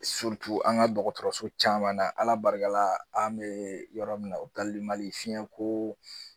an ka dɔgɔtɔrɔso caman na Ala barikala an bɛ yɔrɔ min na Mali fiyɛn ko